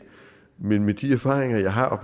men med de erfaringer jeg har